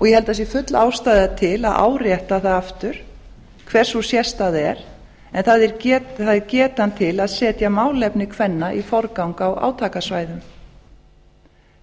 og ég held að það sé full ástæða til að árétta það aftur hver sú sérstaða er en það er getan til að setja málefni kvenna í forgang á átakasvæðum